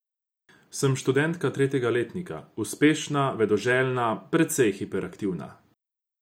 Sem študentka tretjega letnika, uspešna, vedoželjna, precej hiperaktivna.